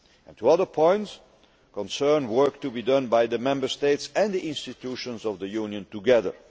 Two other points concern work to be done by the Member States and the institutions of the European Union together.